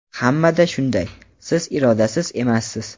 Hammada shunday, siz irodasiz emassiz.